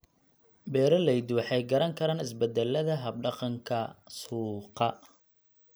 Beeraleydu waxay garan karaan isbeddellada hab-dhaqanka suuqa.